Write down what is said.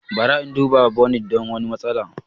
Bara in duba ta bonit don wani matsala.